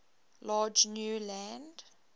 large new land